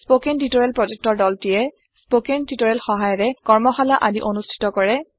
spoken tutorial প্ৰকল্পৰ দলটিয়ে spoken টিওটৰিয়েলৰ সহায়েৰে কৰ্মশালা আদি অনুষ্ঠিত কৰে